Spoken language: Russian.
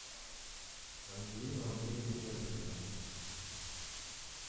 ангелину андреевну владимирову